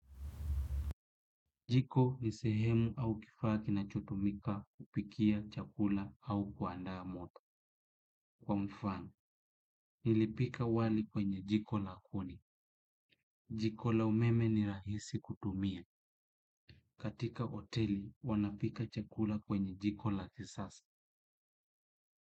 Jiko ni sehemu au kifaa ki na chotumika kupikia chakula au kuandaa moto. Kwa mfano, nilipika wali kwenye jikola kuni. Jikola umeme ni rahisi kutumia. Katika hoteli, wanapika chakula kwenye jikola kisasa.